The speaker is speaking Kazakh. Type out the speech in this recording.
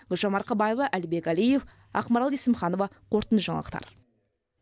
гүлжан марқабаева әлібек әлиев ақмарал есімханова қорытынды жаңалықтар